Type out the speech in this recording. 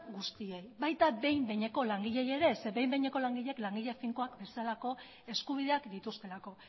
guztiei baita behin behineko langileei ere zeren behin behineko langileak langile finkoak bezalako eskubideak dituztelako